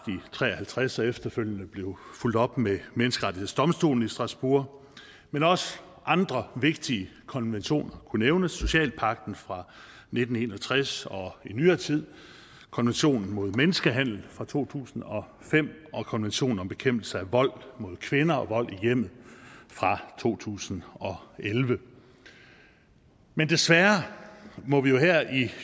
nitten tre og halvtreds og efterfølgende blev fulgt op med menneskerettighedsdomstolen i strasbourg men også andre vigtige konventioner kunne nævnes socialpagten fra nitten en og tres og i nyere tid konventionen mod menneskehandel fra to tusind og fem og konventionen om bekæmpelse af vold mod kvinder og vold i hjemmet fra to tusind og elleve men desværre må vi